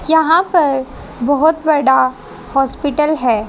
यहां पर बहोत बड़ा हॉस्पिटल है।